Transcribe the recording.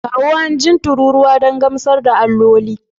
Kawo hanjin tururuwa don gamsar da alloli